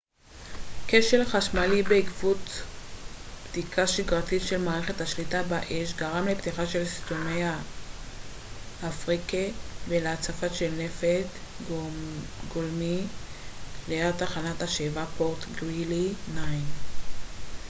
כשל חשמלי בעקבות בדיקה שגרתית של מערכת השליטה באש גרם לפתיחה של שסתומי הפריקה ולהצפה של נפט גולמי ליד תחנת השאיבה פורט גרילי 9